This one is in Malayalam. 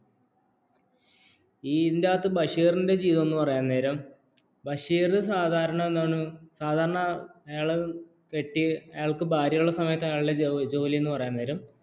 ഈ ഇല്ലാത്ത ബഷീറിന്റെ ജീവിതം പറയുന്ന നേരം ബഷീർ സാധാരണ എന്താണു സാധാരണ ആയാളക്ക് പറ്റിയ ആയാളക് ഭാര്യയുള്ള സമയത്ത് അയാളുടെ ജോലി എന്നു പറയുന്ന നേരം